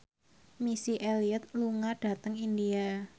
Missy Elliott lunga dhateng India